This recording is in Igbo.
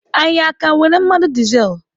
Anyị aka nwere mmanụ dizel?